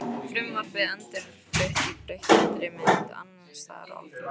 Frumvarpið endurflutt í breyttri mynd- Andstaða á Alþingi